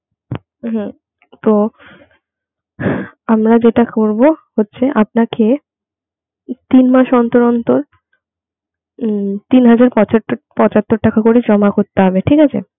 তো আমরা যেটা করবো হচ্ছে আপনাকে তিন মাস অন্তর অন্তর উম তিন হাজার পঁচাত্তর পঁচাত্তর টাকা করে জমা করতে হবে ঠিক আছে?